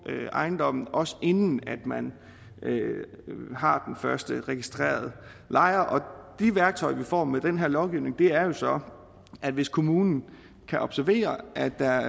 ejendommene også inden man har den første registrerede lejer de værktøjer som vi får med den her lovgivning er jo så at hvis kommunen kan observere at der